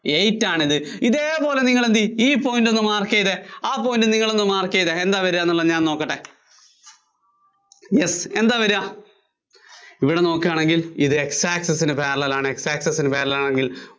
eight ആണിത്. ഏതേപോലെ തന്നെ നിങ്ങള്‍ എന്തുചെയ്യും ഈ point ഒന്ന് mark ചെയ്തേ ആ point നിങ്ങളൊന്ന് mark ചെയ്തേ, എന്താ വര്വാ എന്നുള്ളത് ഞാന്‍ ഒന്നു നോക്കട്ടെ yes എന്താ വര്വാ? ഇവിടെ നോക്കുവാണെങ്കില്‍ ഇത് X access ന് parellel ആണ്. X access ന് parellel ആണെങ്കില്‍